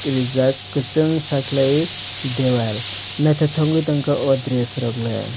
reejak kusung sa kwlaie dewal nythotok tongka aw dress rok leh.